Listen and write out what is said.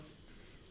ధన్యవాదాలు సార్